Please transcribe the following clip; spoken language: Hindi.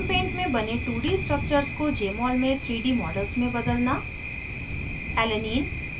* gchempaint में बने 2d structures को jmol में 3d models में बदलना